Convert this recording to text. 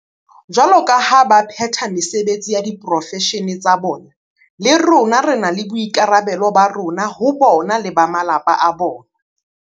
Jwaloka ha ba phetha mesebetsi ya diporofeshene tsa bona, le rona re na le boikarabelo ba rona ho bona le ba malapa a bona.